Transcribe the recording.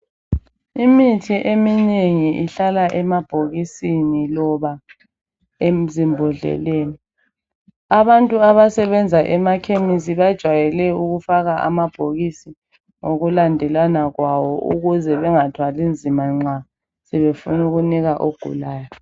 Imithi eminengi ihlala emabhokisini loba ezimbodleleni. Abantu abasebenza emakhemisi bajwayele ukufaka amabhokisi ngokulandelana kwawo ukuze bengathwali nzima nxa sebefun' ukunika ogulayo.